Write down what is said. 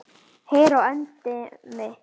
Heyr á endemi!